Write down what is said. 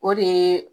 O de ye